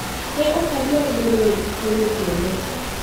Ne ok adwar bedo e tukego kendo.